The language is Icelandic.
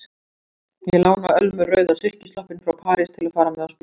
Ég lána Ölmu rauða silkisloppinn frá París til að fara með á spítalann.